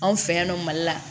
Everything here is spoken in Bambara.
Anw fɛ yan nɔ mali la